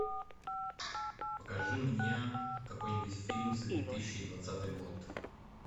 покажи мне какой нибудь фильм за две тысячи двадцатый год